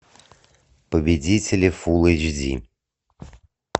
победители фулл эйч ди